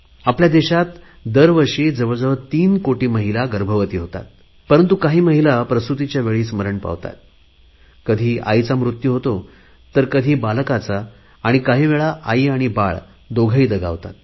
आपल्या देशात दरवर्षी जवळ जवळ तीन कोटी महिला गर्भवती होतात परंतु काही महिला प्रसुतीच्या वेळी मरण पावतात कधी आईचा मृत्यू होतो तर कधी बालकाचा आणि काही वेळेला आई आणि बालक दोघेही दगावतात